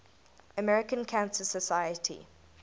american cancer society